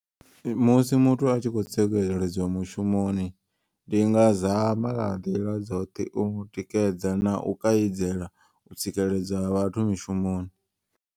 Musi muthu atshi kho tsikeledzwa mushumoni. Ndi nga zama nga nḓila dzoṱhe u mu tikedza na u kaidza u tsikeledzwa vhathu mishumoni.